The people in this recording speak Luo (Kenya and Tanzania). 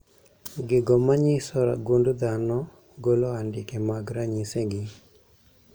Gigo manyiso gund dhano golo andike mag ranyisi gi